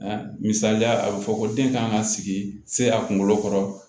Misaliya a be fɔ ko den kan ka sigi se a kunkolo kɔrɔ